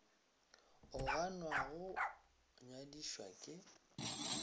o ganwa go nyadišwa ke